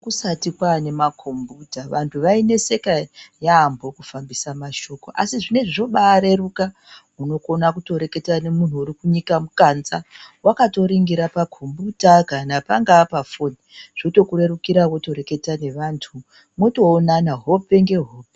Kusati kwane makombiyuta vantu vaineseka yambo kufambisa mashoko asi zvinezvi zvobareruka unokona kutoreketa nemuntu urikunyika mukanza wakatoringira pakombiyuta pangaa pafoni zvotokurerukira wotoreketa nevantu motoonana hope ngehope.